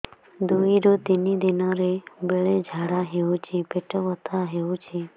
ଦୁଇରୁ ତିନି ଦିନରେ ବେଳେ ଝାଡ଼ା ହେଉଛି ପେଟ ବଥା ହେଉଛି